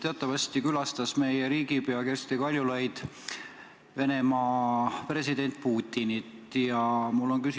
Teatavasti külastas meie riigipea Kersti Kaljulaid Venemaa presidenti Vladimir Putinit.